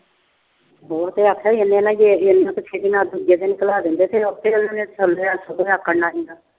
ਹੋਰ ਉਹਨੇ ਆਖਿਆ ਸੀ ਜੇ ਅਸੀਂ ਦੂਜੇ ਦਿਨ ਦਿੰਦੇ ਫਿਰ ਉਹਨਾਂ ਨੇ ਆਪ ਰੱਖਣਾ ਸੀ।